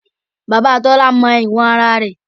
Bàbá Tọ́lá mọ ìwọ̀n ara rẹ̀